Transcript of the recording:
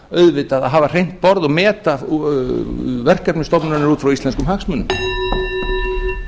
auðvitað að hafa hreint borð og meta verkefni stofnunarinnar út frá íslenskum hagsmunum